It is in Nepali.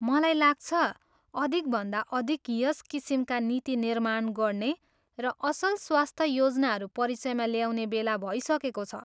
मलाई लाग्छ, अधिकभन्दा अधिक यस किसिमका नीति निर्माण गर्ने र असल स्वास्थ योजनाहरू परिचयमा ल्याउने बेला भइसकेको छ।